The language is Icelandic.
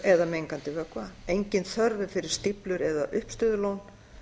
eða mengandi vökva engin þörf er fyrir stíflur eða uppistöðulón